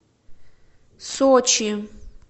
сочи